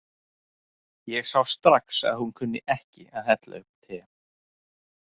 Ég sá strax að hún kunni ekki að hella upp á te.